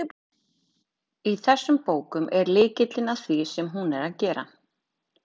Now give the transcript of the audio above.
Í þessum bókum er lykillinn að því sem hún er að gera.